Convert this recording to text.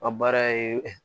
A baara ye